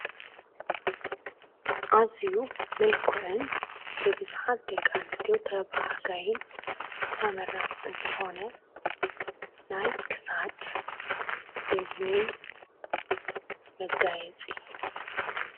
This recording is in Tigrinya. ኣዝዩ ምልኩዑን ብብዙሓት ደቂ ኣንስትዮ ተባሃጋይን ተመራፅን ዝኾነ ናይ ክሳድ፣ እዝኒ መጋየፂ።